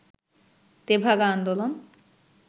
তেভাগা আন্দোলন